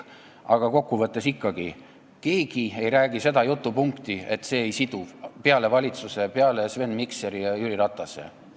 Aga kokkuvõttes ikkagi, kellelgi ei ole olnud seda jutupunkti, et see ei ole siduv, peale valitsuse, peale Sven Mikseri ja Jüri Ratase.